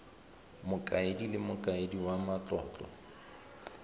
mokaedi le mokaedi wa matlotlo